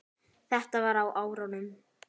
Þetta var á árunum